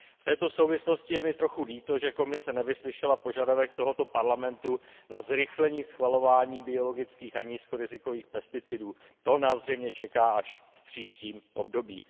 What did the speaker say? V této souvislosti je mi trochu líto, že Komise nevyslyšela požadavek tohoto Parlamentu na zrychlení schvalování biologických a nízkorizikových pesticidů, to nás zřejmě čeká až v příštím období.